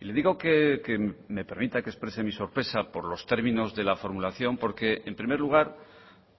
y le digo que me permita que exprese mi sorpresa por los términos de la formulación porque en primer lugar